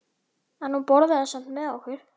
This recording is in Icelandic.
En hún borðaði samt með okkur.